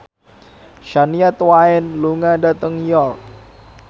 Shania Twain lunga dhateng York